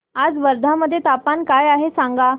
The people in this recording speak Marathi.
आज वर्धा मध्ये तापमान काय आहे सांगा